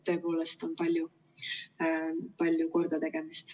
Tõepoolest, on palju kordategemist.